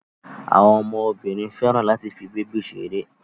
àwọn ọmọ Obìnrin féràn láti fí bebi ṣeré.